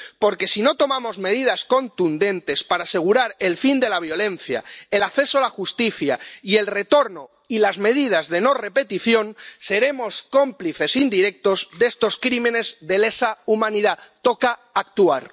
Porque, si no tomamos medidas contundentes para asegurar el fin de la violencia, el acceso a la justicia y el retorno y las medidas de no repetición, seremos cómplices indirectos de estos crímenes de lesa humanidad. Toca actuar.